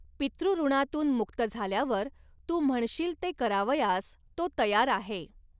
पितृऋणांतून मुक्त झाल्यावर तू म्हणशील ते करावयास तो तयार आहे.